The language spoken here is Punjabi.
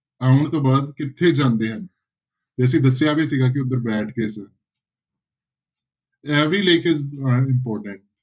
ਆਉੁਣ ਤੋਂ ਬਾਅਦ ਕਿੱਥੇ ਜਾਂਦੇ ਹਨ ਤੇ ਅਸੀਂ ਦੱਸਿਆ ਵੀ ਸੀਗਾ ਕਿ ਇਹ ਵੀ ਲੇਖ